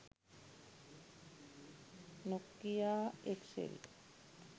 nokia xl